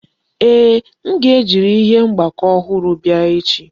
Ee, m ga-eji ihe mgbakọ ọhụrụ bịa echi